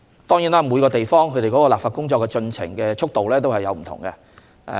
當然，每個地方的立法進程的速度都不同。